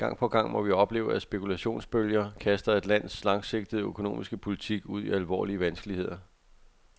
Gang på gang må vi opleve, at spekulationsbølger kaster et lands langsigtede økonomiske politik ud i alvorlige vanskeligheder.